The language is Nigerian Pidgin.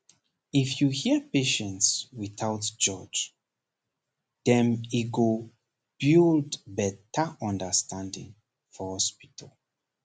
if you hear patients without judge dem e go build better understanding for hospital